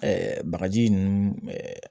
bagaji ninnu